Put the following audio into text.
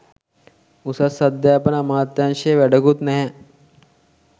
උසස් අධ්‍යාපන අමාත්‍යංශය වැඩකුත් නැහැ